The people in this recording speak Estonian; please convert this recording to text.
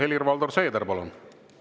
Helir-Valdor Seeder, palun!